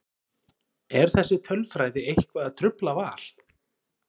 Er þessi tölfræði eitthvað að trufla Val?